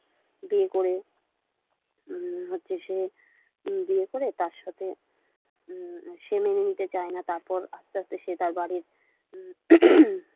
বিয়ে করে হচ্ছে সে বিয়ে করে তার সাথে সে মেনে নিতে চায় না তারপর আস্তে আস্তে সে তার বাড়ির।